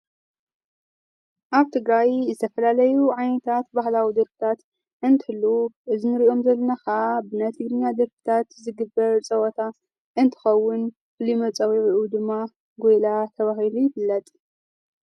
ኣብ ትግራይ ዝተፈላለዩ ዓይነታት ባህላዊ ደርፍታት እንትህሉ እዚ ንርእዮም ዘለና ኸዓ ብናይ ትግርኛ ዘርፍታት ዝግብር ጸወታ እንትኸውን ልመጸውዑ ድማ ጐይላ ተብሂሉ ይፍለጥ።